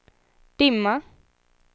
dimma